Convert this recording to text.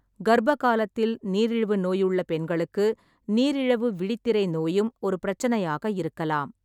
கர்ப்ப காலத்தில், நீரிழிவு நோயுள்ள பெண்களுக்கு நீரிழவு விழித்திரை நோயும் ஒரு பிரச்சனையாக இருக்கலாம்.